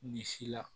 Ni si la